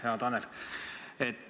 Hea Tanel!